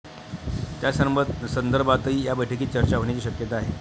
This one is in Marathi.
त्यासंदर्भातही या बैठकीत चर्चा होण्याची शक्यता आहे.